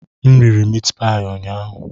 M riri meatpie ụnyaahụ.